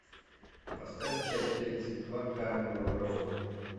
поставь часть тридцать два карнивал роу